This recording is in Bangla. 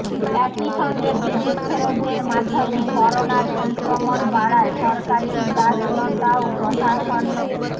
একই সঙ্গে বিদেশ ফেরতদের মাধ্যমে করোনার সংক্রমণ বাড়ায় সরকারের উদাসীনতা ও প্রশাসনের